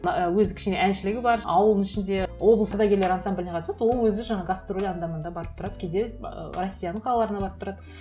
ы өзі кішкене әншілігі бар ауылдың ішінде облыс ардагерлері ансамбліне қатысады ол өзі жаңағы гастроль анда мында барып тұрады кейде ыыы россияның қалаларына барып тұрады